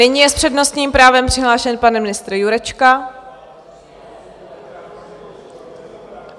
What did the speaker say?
Nyní je s přednostním právem přihlášen pan ministr Jurečka.